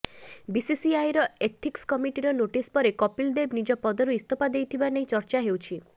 ବିସିସିଆଇର ଏଥିକ୍ସ କମିଟିର ନୋଟିସ ପରେ କପିଲ ଦେବ ନିଜ ପଦରୁ ଇସ୍ତଫା ଦେଇଥିବା ନେଇ ଚର୍ଚ୍ଚା ହେଉଛି